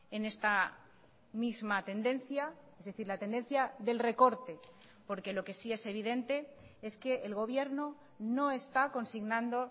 en esta misma tendencia es decir la tendencia del recorte porque lo que sí es evidente es que el gobierno no está consignando